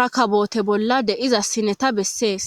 rakabote bolla deiza sineta bessees.